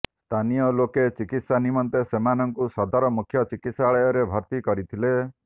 ସ୍ଥାନିୟ ଲୋକେ ଚିକିତ୍ସା ନିମନ୍ତେ ସେମାନଙ୍କୁ ସଦର ମୁଖ୍ୟ ଚିକିତ୍ସାଳୟରେ ଭର୍ତି କରିଥିଲେ